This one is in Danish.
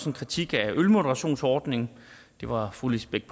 en kritik af ølmoderationsordningen det var fru lisbeth